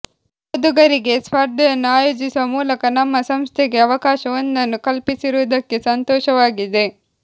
ಓದುಗರಿಗೆ ಸ್ಪರ್ಧೆಯನ್ನು ಆಯೋಜಿಸುವ ಮೂಲಕ ನಮ್ಮ ಸಂಸ್ಥೆಗೆ ಅವಕಾಶವೊಂದನ್ನು ಕಲ್ಪಿಸಿರುವುದಕ್ಕೆ ಸಂತೋಷವಾಗಿದೆ